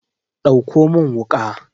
dauko min wuka!